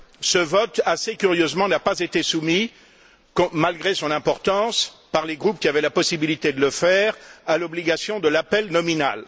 Ce vote, assez curieusement, n'a pas été soumis, malgré son importance, par les groupes qui avaient la possibilité de le faire, à l'obligation de l'appel nominal.